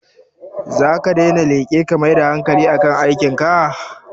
Zaka daina leƙe ka mai da hankali a kan aikin ka?